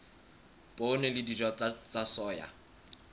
poone le dinawa tsa soya